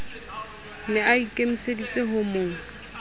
ne a ikemiseditse ho mo